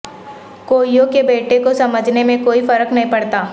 کوئیوں کے بیٹے کو سمجھنے میں کوئی فرق نہیں پڑتا